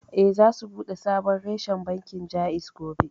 Eh, za su buɗe sabon reshen bankin Jaiz gobe